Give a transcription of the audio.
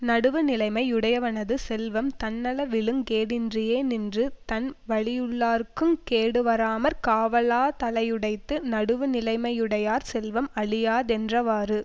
நடுவு நிலைமை யுடையவனது செல்வம் தன்னளவிலுங் கேடின்றியே நின்று தன் வழியுள்ளார்க்குங் கேடுவாராமற் காவலாதலையுடைத்து நடுவுநிலைமையுடையார் செல்வம் அழியாதென்றவாறு